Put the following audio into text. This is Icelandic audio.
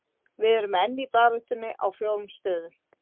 Við erum enn í baráttunni á fjórum stöðum.